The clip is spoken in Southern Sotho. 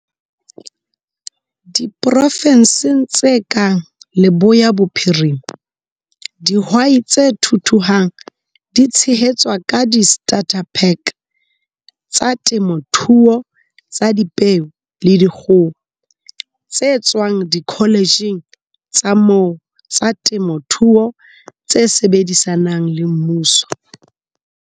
Diprofenseng tse kang Leboya Bophirima, dihwai tse thuthuhang di tshehetswa ka di-starter-pack tsa temothuo tsa dipeo le dikgoho, tse tswang dikoletjheng tsa moo tsa temothuo tse sebedisanang le mmuso.